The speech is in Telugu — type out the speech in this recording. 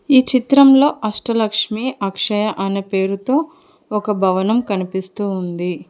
ఈ చిత్రంలో అష్ట లక్ష్మి అక్షయ అనే పేరుతో ఒక భవనం కనిపిస్తూ ఉంది.